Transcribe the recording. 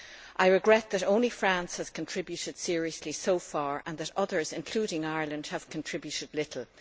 I regret that only France has contributed seriously so far and that others, including Ireland, have contributed little.